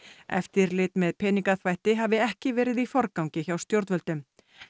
eftirlit með peningaþvætti hafi ekki verið í forgangi hjá stjórnvöldum